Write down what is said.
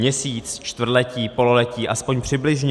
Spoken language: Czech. Měsíc, čtvrtletí, pololetí, aspoň přibližně?